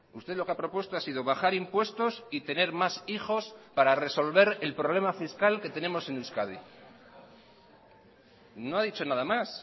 usted lo que ha propuesto ha sido bajar impuestos y tener más hijos para resolver el problema fiscal que tenemos en euskadi no ha dicho nada más